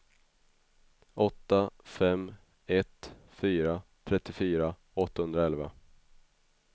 åtta fem ett fyra trettiofyra åttahundraelva